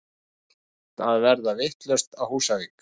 Allt að verða vitlaust á Húsavík!!!!!